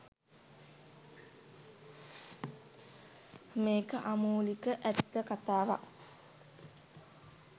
මේක අමූලික ඇත්ත කතාවක්